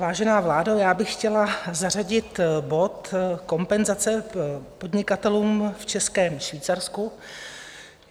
Vážená vládo, já bych chtěla zařadit bod Kompenzace podnikatelům v Českém Švýcarsku.